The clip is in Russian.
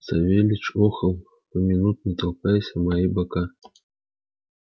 савельич охал поминутно толкаясь о мои бока